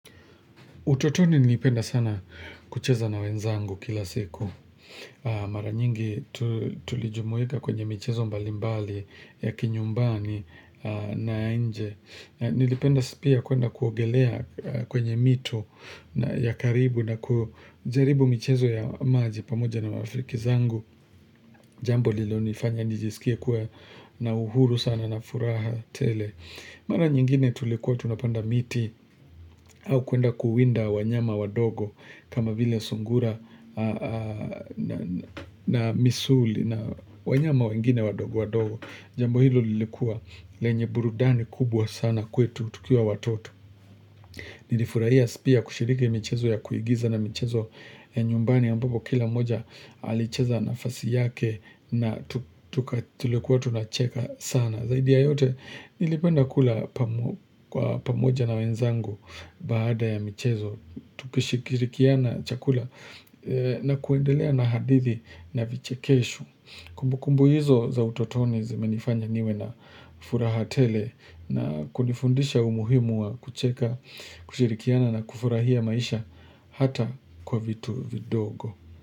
Utotoni nilipenda sana kucheza na wenzangu kila siku. Mara nyingi tulijumuika kwenye michezo mbalimbali ya kinyumbani na nje. Nilipenda pia kuenda kuogelea kwenye mito ya karibu na kujaribu michezo ya maji pamoja na marafiki zangu. Jambo lililonifanya nijisikie kuwa na uhuru sana na furaha tele. Mara nyingine tulikuwa tunapanda miti au kuenda kuwinda wanyama wadogo. Kama vile sungura na misuli na wanyama wengine wadogo wadogo Jambo hilo lilikua lenye burudani kubwa sana kwetu tukiwa watoto Nilifurahia pia kushiriki michezo ya kuigiza na michezo ya nyumbani ampapo kila mmoja alicheza nafasi yake na tuka tulikuwa tunacheka sana Zaidi ya yote, nilipenda kula pamoja na wenzangu baada ya michezo, tukishirikiana chakula na kuendelea na hadithi na vichekesho Kumbukumbu hizo za utotoni zimenifanya niwe na furaha tele na kunifundisha umuhimu wa kucheka kushirikiana na kufurahia maisha hata kwa vitu vidogo.